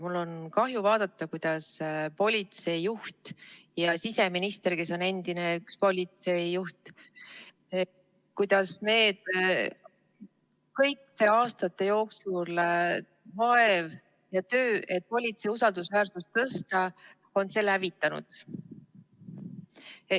Mul on kahju vaadata, kuidas politseijuht ja siseminister, kes on endine politseijuht, on kogu aastate jooksul nähtud vaeva ja tehtud töö, et politsei usaldusväärsust tõsta, hävitanud.